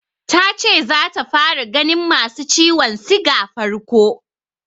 Ta ce zata fara ganin masu ciwon siga farko.